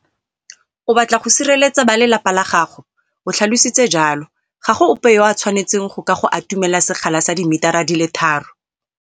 O batla go sireletsa balelapa la gago, o tlhalositse jalo. Ga go ope yo a tshwanetseng go ka go atumela sekgala sa dimitara di le tharo.